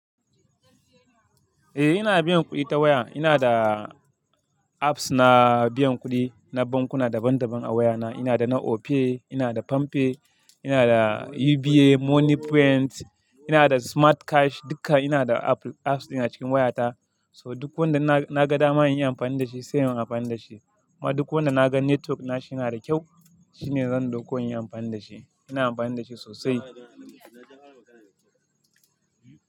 Eh ina biyan kuɗi ta waya, ina da apps na biyan kuɗi na bankuna daban daban a wayana. Ina da na Opay, ina da PamPay, ina da UBA Money Print, ina da Smart Cash duka ina da apps ɗin a cikin wayata. So duk wanda na ga dama in yi amfani da shi sai in yi amfani da shi. Kuma duk wanda na ga network nashi yana da kyau shine zan dauko in yi amfani da shi. Ina amfani da shi sosai.